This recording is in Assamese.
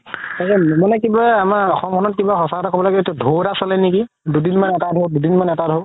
মানে কিবা আমাৰ অসমখনত কিবা সচা কথা ক'বলৈ গ'লে ধৌ এটা চলে নেকি দুদিন মান এটা ধৌ, দুদিন মান এটা ধৌ